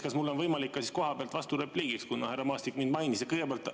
Kas mul on võimalik ka kohapealt vasturepliik öelda, kuna härra Maastik mind mainis?